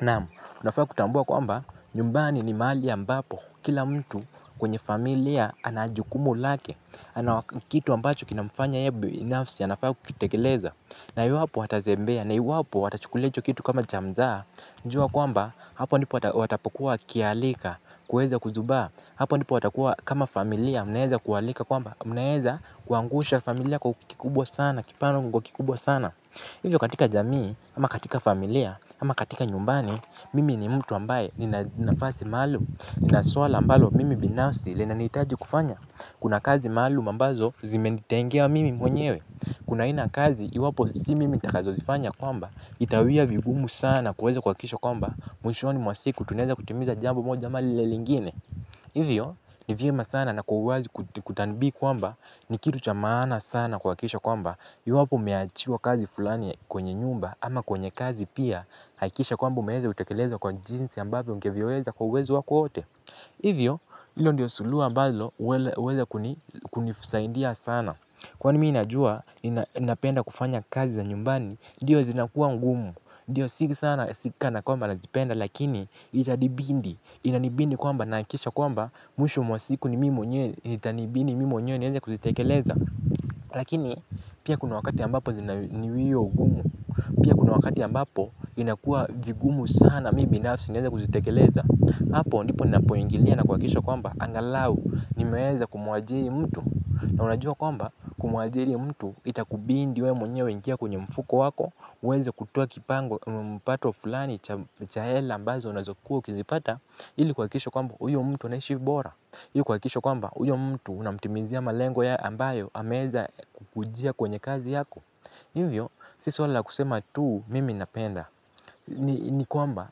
Naam, unafaa kutambua kwamba, nyumbani ni mahali ambapo, kila mtu kwenye familia ana jukumu lake, ana kitu ambacho kinamfanya yeye binafsi, anafaa kukitekeleza, na iwapo atazembea, na iwapo atachukulia hicho kitu kama cha mzaha, najua kwamba, hapo ndipo watapokuwa wakialika, kuweza kuzubaa, hapo ndipo watakuwa kama familia, mnaeza kualika kwamba, mnaeza kuangusha familia kukikubwa sana, kipana kukikubwa sana. Hivyo katika jamii, ama katika familia, ama katika nyumbani, mimi ni mtu ambaye nina nafasi maalumu, nina suwala ambalo mimi binasfi linanihitaji kufanya. Kuna kazi maalumu ambazo zimenitengea mimi mwenyewe. Kuna aina ya kazi, iwapo si mimi nitakazozifanya kwamba, itawia vigumu sana kuweza kuhakikisha kwamba, mwishoni mwa siku, tunaeza kutimiza jambo moja ama lile lingine. Hivyo ni vyema sana na kwa uwazi kutanbihi kwamba ni kitu cha maana sana kuhakikisha kwamba iwapo umeachiwa kazi fulani kwenye nyumba ama kwenye kazi pia. Hakikisha kwamba umeweza kutekeleza kwa jinsi ambapo ungeviweza kwa uwezo wako wote. Hivyo hilo ndio suluhu ambalo huweza kunisaidia sana. Kwani mimi najua napenda kufanya kazi za nyumbani ndio zinakuwa ngumu ndio si sana si kana kwamba nazipenda lakini itanibidi inanibidi kwamba nahakikisha kwamba mwisho mwa siku ni mimi mwenyewe itanibidi mimi mwenyewe niweze kuzitekeleza lakini pia kuna wakati ambapo ni wio gumu pia kuna wakati inakua vigumu mimi binafsi niweze kuzitekeleza hapo ndipo napoingilia na kuhakikisha kwamba angalau niweza kumwajiri na unajua kwamba kumwajiri mtu itabidi wewe mwenyewe uingia kwenye mfuko wako utoe kipato fulani cha hela ambazo unazokua ukizipata ili kuhakikisha kwamba huyo mtu anaishi bora ili kuhakikisha kwamba huyo mtu unamtimizia malengo ya ambayo ameweza kukujia kwenye kazi yako hivyo, si swala ka kusema tu mimi ninapenda. Ni kwamba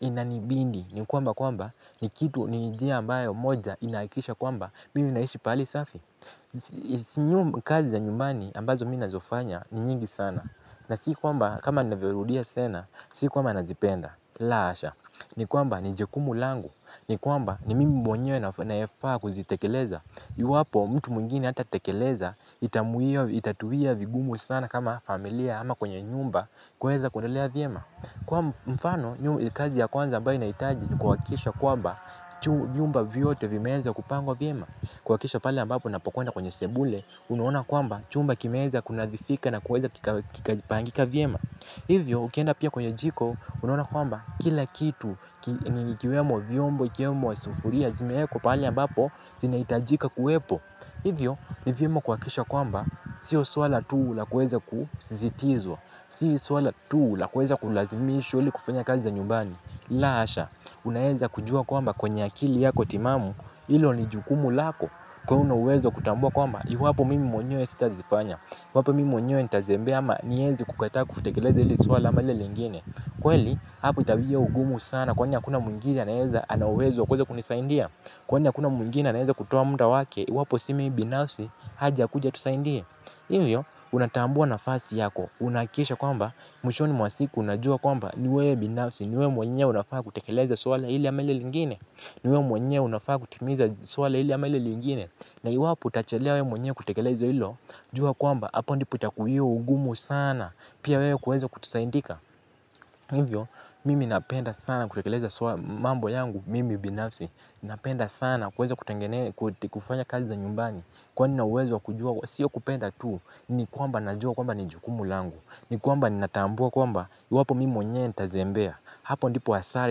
inanibidi, ni kwamba kwamba ni kitu ni njia ambayo moja inahakikisha kwamba mimi naishi pahali safi. Kazi ya nyumbani ambazo mimi ninazofanya ni nyingi sana. Na si kwamba kama navyorudia tena, si kwamba nazipenda. La hasha, ni kwamba ni jukumu langu. Ni kwamba ni mimi mwenyewe nayafaa kuzitekeleza iwapo mtu mwingine hatatekeleza. Itamuia itatuia vigumu sana kama familia ama kwenye nyumba. Kuweza kuendelea vyema. Kwa mfano kazi ya kwanza ambayo inahitaji kuhakikisha kwamba vyumba vyote vimeeza kupangwa vyema kuhakikisha pale ambapo napokwenda kwenye sebule. Unaona kwamba chumba kimeweza kunadhifika na kuweza kikazipangika vyema. Hivyo ukienda pia kwenye jiko unaona kwamba kila kitu ni kiwemo vyombo, iwemo masufuria, zimeekwa pahali ambapo, zinahitajika kuwepo. Hivyo, ni vyema kuhakikisha kwamba, sio swala tu la kuweza kusisitizwa, sio swala tu la kuweza kulazimishwa ili kufanya kazi za nyumbani. La hasha, unaweza kujua kwamba kwenye akili yako timamu, hilo ni jukumu lako, kwa hiyo una uwezo wa kutambua kwamba, iwapo mimi mwenye sitazifanya iwapo mimi mwenye nitazembea ama niweze kukata kutekeleza hili swala ama lile lingine. Kweli, hapo itawia ugumu sana. Kwani hakuuna mwingine anaeza ana uwezo wa kuweza kunisaidia. Kwani hakuna mwingine anaweza kutoa muda wake. Iwapo si mimi binafsi aje akuju atusaidie hivyo, unatambua nafasi yako. Unahakikisha kwamba, mwishoni mwa siku unajua kwamba ni wewe binafsi, ni wewe mwenye unafaa kutekeleza swala hili ama lile lingine. Ni wewe mwenyewe unafaa kutimiza swala hili ama lile lingine na iwapo utachelewa wewe mwenyewe kutekeleleza hilo jua kwamba hapo ndo itakuwia ugumu wewe kuweza kusaidika hivyo, mimi napenda sana kutekeleza swala mambo yangu, mimi binafsi, napenda sana kuweza kutengene, kufanya kazi za nyumbani. Kwani nina uwezo wa kujua, sio kupenda tu, ni kwamba najua kwamba ni jukumu langu, ni kwamba natambua kwamba, iwapo mimi mwenyewe nitazembea. Hapo ndipo hasara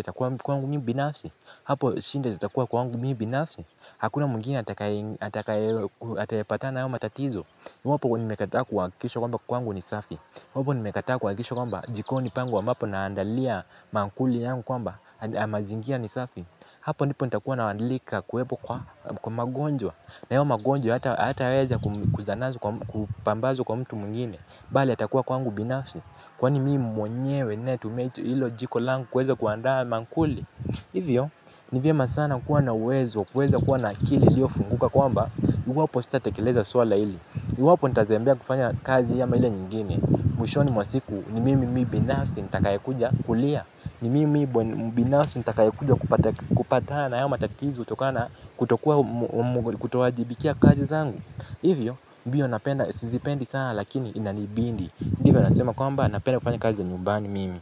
itakuwa kwangu mimi binafsi hapo shida zitakuwa kwangu mimi binafsi hakuna mwingine atakaye atayepatana hayo matatizo iwapo nimekataa kuhakikisha kwamba kwangu ni safi iwapo nimekataa kuhakikisha kwamba jikoni pangu ambapo naandalia maankuli yangu kwamba mazingira ni safi hapo ndipo nitakuwa naalika kuwepo kwa magonjwa na hayo magonjwa hatayaweza kupambazwa kwa mtu mwingine bali yatakuwa kwangu binafsi. Kwa ni mimi mwenyewe ninaye tumia t hilo jiko langu kuweza kuandaa maankuli. Hivyo, ni vyema sana kuwa na uwezo, kuweza kuwa na akili iliyofunguka kwamba iwapo sitatekeleza swala hili iwapo nitazembea kufanya kazi ama ile nyingine. Mwishoni mwa siku ni mimi binafsi nitakayekuja kulia. Ni mimi binafsi nitakayekuja kupatana hayo matatizo kutokana kutokua kutowajibikia kazi zangu. Hivyo, mbio napenda, sizipendi sana lakini inanibidi ndivyo nasema kwamba napenda kufanya kazi za nyumbani mimi.